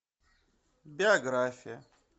биография